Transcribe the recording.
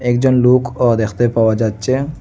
একজন লোক ও দ্যাখতে পাওয়া যাচ্ছে।